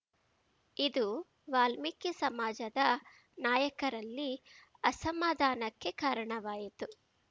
ಇದು ವಾಲ್ಮೀಕಿ ಸಮಾಜದ ನಾಯಕರಲ್ಲಿ ಅಸಮಾಧಾನಕ್ಕೆ ಕಾರಣವಾಯಿತು